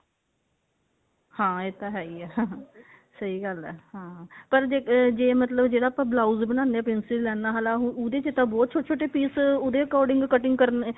ਹਾਂ ਇਹ ਤਾਂ ਹੈ ਹੀ ਹੈ ਸਹੀ ਗੱਲ ਹੈ hm ਪਰ ਜੇ ਮਤਲਬ ਜਿਹੜਾ ਆਪਾਂ blouse ਬਣਾਉਂਦੇ ਹਾਂ princess ਲਾਈਨਾ ਵਾਲਾ ਉਹਦੇ ਵਿੱਚ ਤਾਂ ਬਹੁਤ ਛੋਟੇ ਛੋਟੇ piece ਉਹਦੇ according cutting ਕਰਨੇ